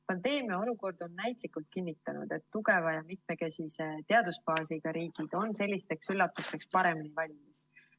Pandeemia olukord on näitlikult kinnitanud, et tugeva ja mitmekesise teadusbaasiga riigid on sellisteks üllatusteks paremini valmis.